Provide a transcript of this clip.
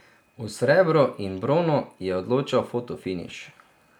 O srebru in bronu je odločal fotofiniš.